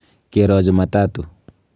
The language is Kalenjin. Kero jumatatu.